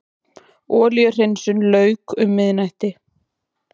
Olíuhreinsun lauk um miðnættið